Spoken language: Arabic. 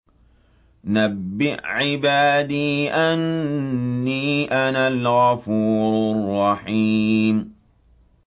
۞ نَبِّئْ عِبَادِي أَنِّي أَنَا الْغَفُورُ الرَّحِيمُ